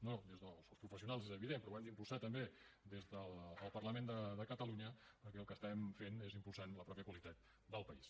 no des dels professionals és evident però l’hem d’impulsar també des del parlament de catalunya perquè el que estarem fent és impulsar la mateixa qualitat del país